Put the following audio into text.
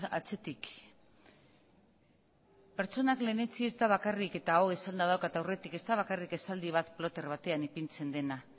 atzetik pertsonak lehentsi ez da bakarrik eta hau esanda daukat aurretik ez da bakarrik esaldi bat ploter batean ipintzen dena